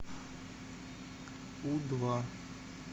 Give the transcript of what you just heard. у два